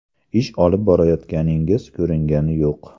Ish olib borayotganingiz ko‘ringani yo‘q.